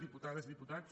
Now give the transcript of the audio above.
diputades diputats